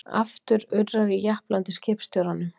Aftur urrar í japlandi skipstjóranum.